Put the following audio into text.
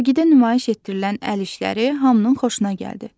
Sərgidə nümayiş etdirilən əl işləri hamının xoşuna gəldi.